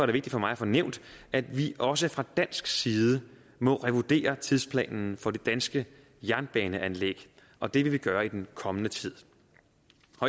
det vigtigt for mig at få nævnt at vi også fra dansk side må revurdere tidsplanen for det danske jernbaneanlæg og det vil vi gøre i den kommende tid